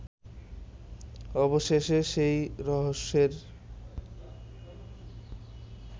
অবশেষে সেই রহস্যের